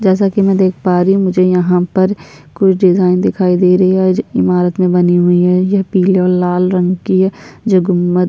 जैसा कि मैं देख पा रही हूँ मुझे यहाँ पर कुछ डिजाइन दिखाई दे रही है इमारत में बनी हुई हैं ये पीले और लाल रंग की है जो गुबंद --